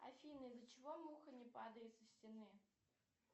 афина из за чего муха не падает со стены